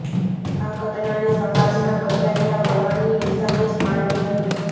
આ ઘટનાને સમાજના બદલાયેલા વલણની નિશાની જ માનવી રહી